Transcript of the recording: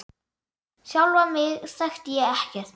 Sjálfa mig þekkti ég ekkert.